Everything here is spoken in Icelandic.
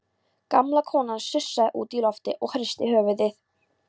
Gamla konan sussaði út í loftið og hristi höfuðið.